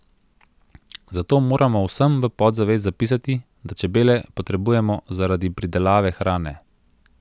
Zato moramo vsem v podzavest zapisati, da čebele potrebujemo zaradi pridelave hrane.